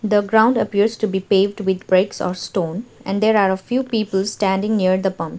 the ground appears to be paved with bricks or stone and there are a few people standing near the pumps.